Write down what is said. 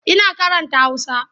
Ina karanta Hausa.